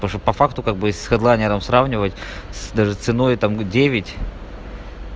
по факту как бы с хэдлайнером сравнивать с даже с ценой и там девять